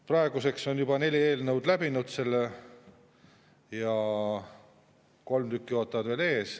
Praeguseks on juba neli eelnõu hääletuse läbinud, kolm tükki ootavad veel ees.